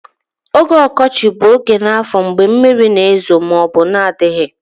Oge ọkọchị bụ oge n'afọ mgbe mmiri na-ezo ma ọ bụ na-adịghị